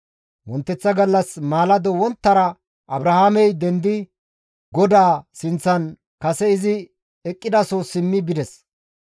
Wonteththa gallas Abrahaamey maalado wonttara dendidi GODAA sinththan kase izi eqqidaso simmi bides.